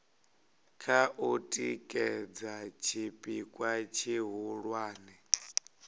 kha u tikedza tshipikwa tshihulwane